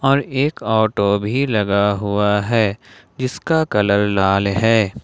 और एक ऑटो भी लगा हुआ है जिसका कलर लाल है।